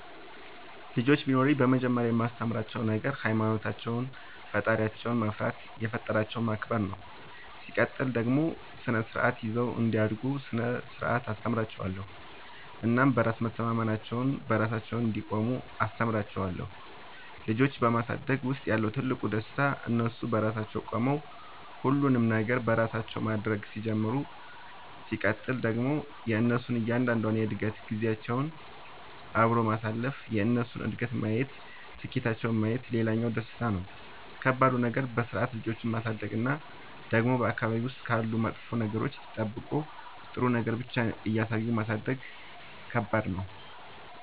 ልጆች ቢኖሩኝ መጀመሪያ የማስተምራቸዉ ነገር ሃይማኖታቸውን ፈጣሪያቸውን መፍራት የፈጠራቸውን ማክበር ነው ሲቀጥል ደግሞ ስርዓት ይዘው እንዲያድጉ ስነ ስርዓት አስተምራችኋለሁ እናም በራስ መተማመናቸውን, በራሳቸው እንዲቆሙ አስተምራቸዋለሁ። ልጆች በማሳደግ ውስጥ ያለው ትልቁ ደስታ እነሱ በራሳቸው ቆመው ሁሉንም ነገር በራሳቸው ማድረግ ሲጀምሩ ሲቀጥል ደግሞ የእነሱን እያንዳንዷን የእድገት ጊዜያቸውን አብሮ ማሳለፍ የእነሱን እድገት ማየት ስኬታቸውን ማየት ሌላኛው ደስታ ነው። ከባዱ ነገር በስርዓት ልጆችን ማሳደግ እና ደግሞ በአካባቢ ውስጥ ካሉ መጥፎ ነገሮች ጠብቆ ጥሩ ነገር ብቻ እያሳዩ ማሳደግ ከባድ ነው።